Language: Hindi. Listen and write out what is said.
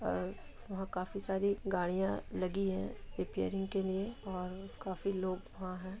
यहाँ काफी साडी गाड़िया लगी है रिपेरिंग के लिए काफी लोग वह--